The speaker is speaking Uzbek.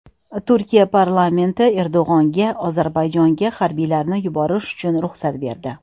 Turkiya parlamenti Erdo‘g‘onga Ozarbayjonga harbiylarni yuborish uchun ruxsat berdi.